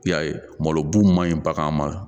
I y'a ye malo bun man ɲi bagan ma